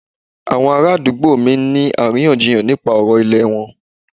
Àwọn ará àdúgbò mí ń ní àríyànjiyàn nípa ọ̀rọ̀ ìlẹ̀ wọn.